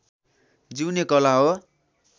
जिउने कला हो